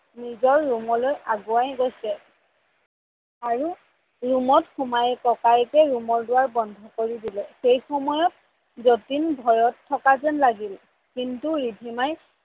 নিজৰ ৰুমলৈ আগুৱাই গৈছে আৰু ৰুমত সোমায়ে ককায়েকে ৰুমৰ দুৱাৰ বন্ধ কৰি দিলে সেইসময়ত জতিন ভয়ত থকা যেন লাগিল কিন্তু ৰিধিমাই